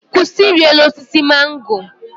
Kwụsị iri elu osisi mango!